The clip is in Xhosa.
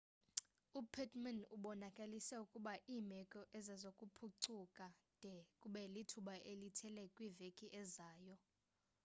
upittmann ubonakalise ukuba iimeko azizokuphucuka de kube lithuba elithile kwiveki ezayo